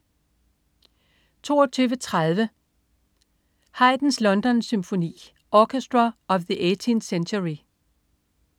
22.30 Haydns Londonsymfoni. Orchestra of the 18th Century